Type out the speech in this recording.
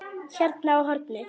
Hérna á hornið.